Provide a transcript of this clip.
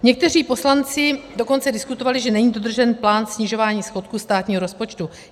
Někteří poslanci dokonce diskutovali, že není dodržen plán snižování schodku státního rozpočtu.